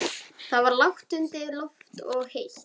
Það var lágt undir loft og heitt.